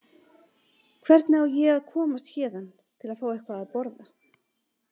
Hvernig á ég að komast héðan til að fá eitthvað að borða?